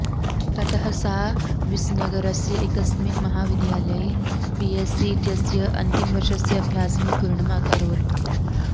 ततः सा विसनगरस्य एकस्मिन् महावद्यालये बी एस् सी इत्यस्य अन्तिमवर्षस्य अभ्यासं पूर्णम् अकरोत्